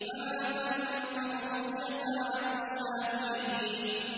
فَمَا تَنفَعُهُمْ شَفَاعَةُ الشَّافِعِينَ